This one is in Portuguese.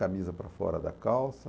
Camisa para fora da calça.